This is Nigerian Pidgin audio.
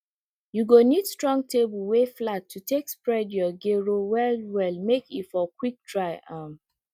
you go need strong table wey flat to take spread your gero well well make e for quick dry um